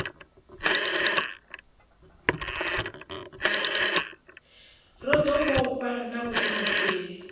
ro ḓi vhofha na vhuḓiimiseli